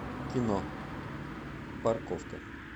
кино парковка